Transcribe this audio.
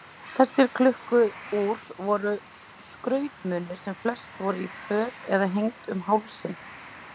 Þessi klukku-úr voru skrautmunir sem fest voru í föt eða hengd um hálsinn.